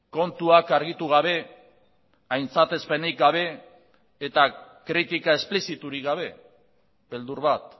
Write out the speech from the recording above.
kontuak argitu gabe aintzatezpenik gabe eta kritika espliziturik gabe beldur bat